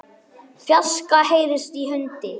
fjarska heyrist í hundi.